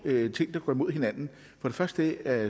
ting der går imod hinanden for det første er